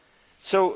money